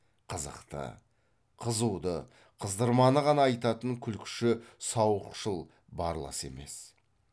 қызықты қызуды қыздырманы ғана айтатын күлкіші сауықшыл барлас емес